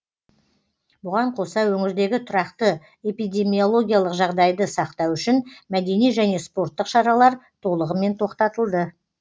бұған қоса өңірдегі тұрақты эпидемиологиялық жағдайды сақтау үшін мәдени және спорттық шаралар толығымен тоқтатылды